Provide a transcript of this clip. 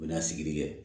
U bɛ na sigili kɛ